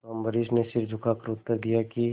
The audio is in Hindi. तो अम्बरीश ने सिर झुकाकर उत्तर दिया कि